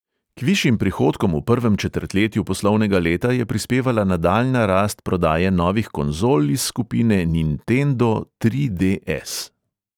K višjim prihodkom v prvem četrtletju poslovnega leta je prispevala nadaljnja rast prodaje novih konzol iz skupine nintendo tri de|es.